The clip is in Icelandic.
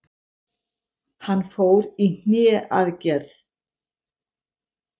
Hann fór í hné aðgerð.